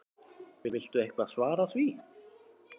Viltu eitthvað svara því?